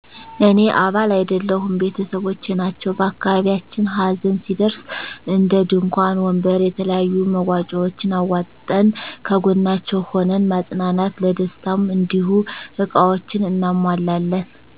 እኔ አባል አይደለሁም ቤተሰቦቸ ናቸዉ በአካባቢያችን ሀዘን ሲደርስ እንድንኳን ወንበር የተለያዩ መዋጫዎችን አዋጠን ከጎናቸዉ ሁነን ማፀናናት ለደስታም እንዲሁ እቃዎችን አናሟላለን